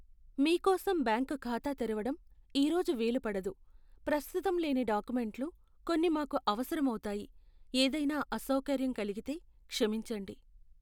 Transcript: మీ కోసం బ్యాంకు ఖాతా తెరవటం ఈ రోజు వీలు పడదు. ప్రస్తుతం లేని డాక్యుమెంట్లు కొన్ని మాకు అవసరం అవుతాయి. ఏదైనా అసౌకర్యం కలిగితే క్షమించండి.